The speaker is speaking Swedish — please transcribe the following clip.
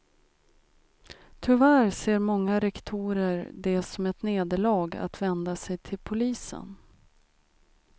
Tyvärr ser många rektorer det som ett nederlag att vända sig till polisen.